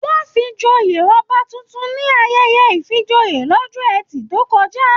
Wọn fí joyè ọba títún ní ayẹyẹ ifíjòyè l'ọjọ́ ẹtì tó kọjá